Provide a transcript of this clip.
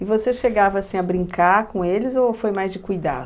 E você chegava assim a brincar com eles ou foi mais de cuidar?